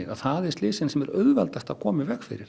það eru slysin sem er auðveldast að koma í veg fyrir